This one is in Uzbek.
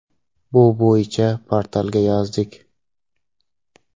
Bu bo‘yicha portalga yozdik.